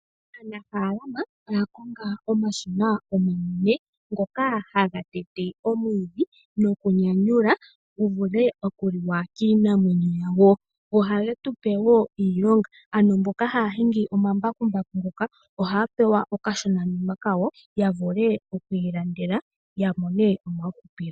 Aanafaalama oya konga omashina omanene ngoka haga tete omwiidhi nokunyanyula gu vule okuliwa kiinamwenyo yawo. Ohage tu pe wo iilonga ano mboka haya hingi omambakumbaku ngoka ohaya pewa okashonanima kawo ya vule oku ilandela ya mone omahupilo.